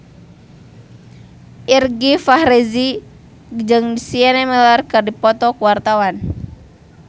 Irgi Ahmad Fahrezi jeung Sienna Miller keur dipoto ku wartawan